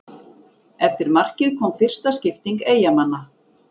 Eftir markið kom fyrsta skipting Eyjamanna.